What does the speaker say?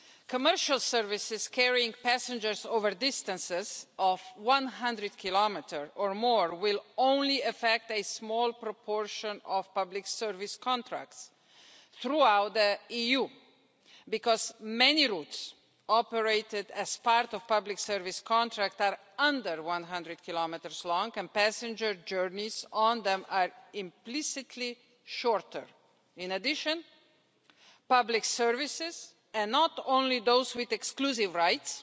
Commercial services carrying passengers over distances of 100km or more will concern only a small proportion of public service contracts throughout the EU because many routes operated as part of public service contracts are under 100km long, and passenger journeys on them are implicitly shorter. In addition, public services and not only those with exclusive rights